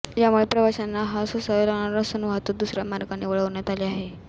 यामुळे प्रवाशांना हाल सोसावे लागणार असून वाहतूक दुसऱ्या मार्गाने वळवण्यात आली आहे